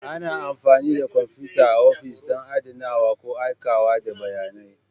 Ana amfani da kwamfuta a ofis don adanawa ko aikawa da bayanai.